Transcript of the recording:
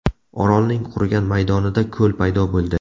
Orolning qurigan maydonida ko‘l paydo bo‘ldi.